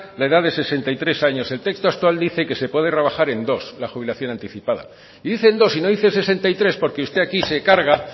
la edad de sesenta y tres años el texto actual dice que se puede rebajar en dos la jubilación anticipada y dice en dos y no dice sesenta y tres porque usted aquí se carga